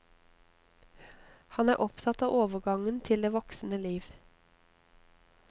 Han er opptatt av overgangen til det voksne liv.